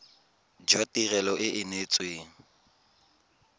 jwa tirelo e e neetsweng